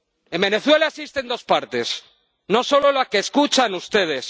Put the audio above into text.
En Venezuela existen dos partes, no solo la que escuchan ustedes.